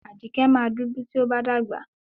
Ajíkẹ́ máa dúdú tí ó bá dàgbà.